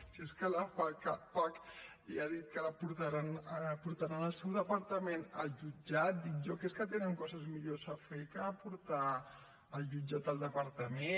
si és que la fapac ja ha dit que portaran el seu departament al jutjat dic jo que deuen tenir coses millors a fer que portar al jutjat el departament